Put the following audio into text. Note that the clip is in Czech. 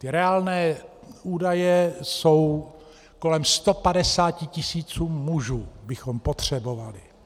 Ty reálné údaje jsou kolem 150 tisíc mužů, které bychom potřebovali.